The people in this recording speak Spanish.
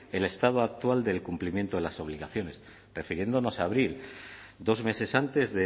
el estado actual del cumplimiento de las obligaciones refiriéndonos a abril dos meses antes